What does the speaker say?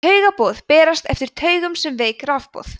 taugaboð berast eftir taugum sem veik rafboð